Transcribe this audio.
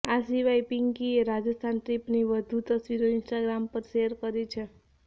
આ સિવાય પિન્કીએ રાજસ્થાન ટ્રિપની વધુ તસવીરો ઇન્સ્ટાગ્રામ પર શેર કરી છે